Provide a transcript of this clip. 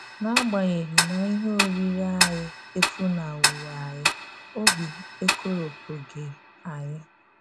N’agbanyeghị na ihe orírí ànyí efunahụwo ànyí, òbì ekoropụghị ànyí.